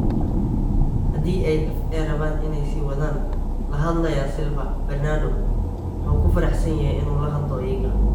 """Haddii ay (FA) rabaan inay sii wadaan (la hadlaya Silva), Bernardo wuu ku faraxsan yahay inuu la hadlo iyaga."